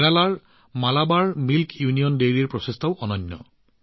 কেৰালাৰ মালাবাৰ দু্গ্ধ ইউনিয়ন ডেইৰীৰ এই প্ৰচেষ্টাও অতি অনন্য